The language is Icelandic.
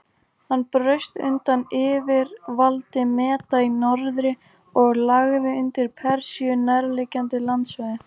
Hann braust undan yfirvaldi Meda í norðri og lagði undir Persíu nærliggjandi landsvæði.